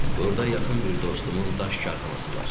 Burda yaxın bir dostumun daş karxanası var.